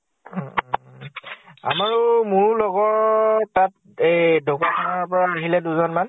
উম উম । আমাৰো, মোৰো লগৰ তাত এই ঢকোৱাখানা পৰা আহিলে দুজন মান